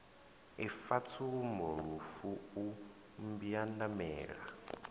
ifa tsumbo lufu u mbwandamela